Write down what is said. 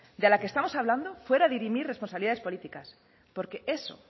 de la que estamos hablando fuera a dirimir responsabilidades políticas porque eso